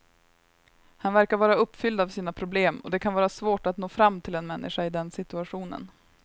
Han verkar vara uppfylld av sina problem och det kan vara svårt att nå fram till en människa i den situationen.